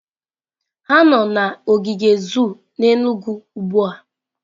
Ha nọ n'ogige zoo n'Enugwu ugbua.